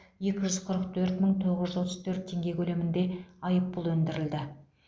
екі жүз қырық төрт мың тоғыз жүз отыз төрт теңге көлемінде айыппұл өндірілді